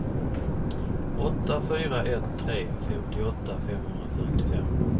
åtta fyra ett tre femtioåtta femhundrafyrtiofem